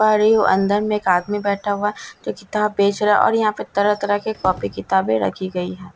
पा रही हूं अंदर में एक आदमी बैठा हुआ है जो किताब बेच रहा है और यहां पे तरह-तरह की काॅफी-किताबे रखी गई है।